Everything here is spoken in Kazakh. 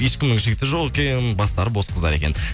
ешкімнің жігіті жоқ екен бастары бос қыздар екен